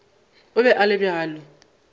o be a le bjalo